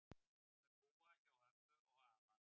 Mun búa hjá ömmu og afa